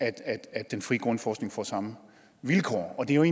at den frie grundforskning får samme vilkår det er